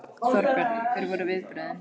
Þorbjörn: Hver voru viðbrögðin?